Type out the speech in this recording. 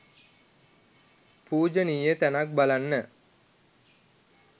පූජනීය තැනක් බලන්න